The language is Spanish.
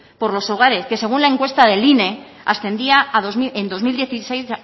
por los hogares que según la encuesta del ine ascendía en dos mil dieciséis